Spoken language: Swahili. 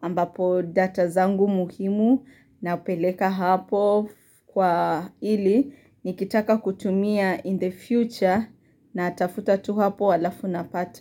ambapo data zangu muhimu na peleka hapo kwa ili nikitaka kutumia in the future na atafuta tu hapo alafu napata.